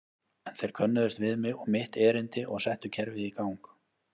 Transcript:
En þeir könnuðust við mig og mitt erindi og settu kerfið í gang.